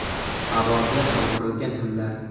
Havoga sovurilgan pullar.